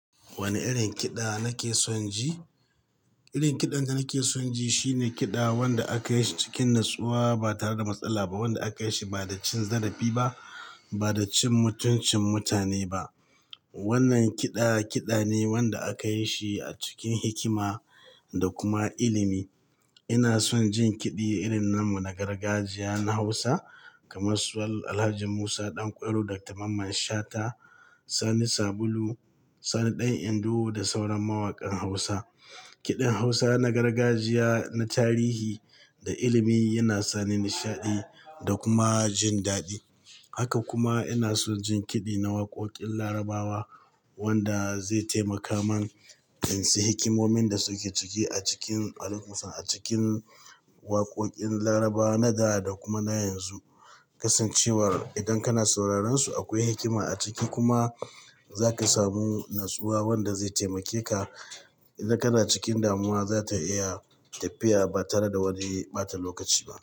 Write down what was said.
Wane irin kiɗa nake son ji? Irin kiɗan da nake son ji shine kiɗa wanda akayi cikin natsuwa ba tare da matsala ba, wanda akayi shi bada cin zarafi ba, bada cin mutuncin mutane ba. Wannan kiɗa, kiɗane wanda akayi shi acikin hikima da kuma ilimi. Ina son jin kiɗi irin namu na gargajiya na Hausa kamar su Alhaji Musa Ɗanƙwairo, Dr. Mamman Shata, Sani Sabulu, Sani Ɗan Indo da sauran mawakan Hausa. Kiɗin Hausa na gargajiya, na tarihi da ilimi yana sani nishaɗi da kuma jindaɗi. Haka kuma ina son jin kiɗi na waƙoƙin Larabawa wanda zai taimaka man insan hikimomin dasuke ciki acikin alikumussalam, a cikin waƙoƙin Larabawa na da dakuma na yanzu. Kasancewar idan kana sauraron su akwai hikima aciki kuma zaka samu natsuwa wanda zai taimake ka. Idan kana cikin damuwa zata iya tafiya ba tare da wani ɓata lokaci ba.